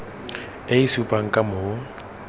e e supang ka moo